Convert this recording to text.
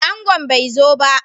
Angon bai zo ba